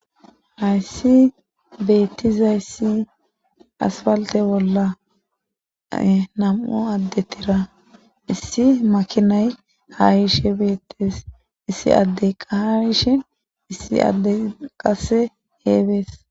hayssi beettiza issi asfalte bolla nam7o addettira issi makinay haarishe beettes issi addey qayishin issi addey qasse heebees